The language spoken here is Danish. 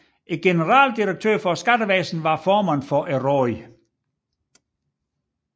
Generaldirektøren for Skattevæsenet var formand for rådet